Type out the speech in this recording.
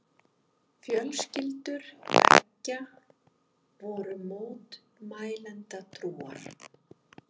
Fjölskyldur beggja voru mótmælendatrúar.